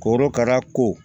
Korokara ko